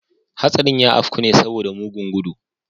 Hastarin ya afku ne saboda mugun gudu.